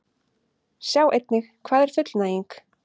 Sjá einnig: Hvað er fullnæging?